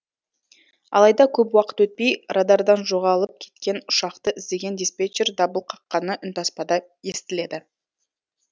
алайда көп уақыт өтпей радардан жоғалып кеткен ұшақты іздеген диспетчер дабыл қаққаны үнтаспада естіледі